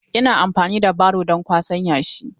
Ina amfani da baro don kwasan yashi.